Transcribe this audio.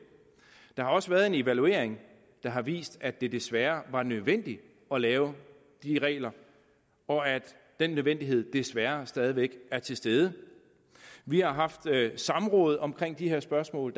der har også været en evaluering der har vist at det desværre var nødvendigt at lave de regler og at den nødvendighed desværre stadig væk er til stede vi har haft samråd omkring de her spørgsmål